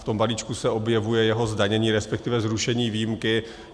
V tom balíčku se objevuje jeho zdanění, respektive zrušení výuky.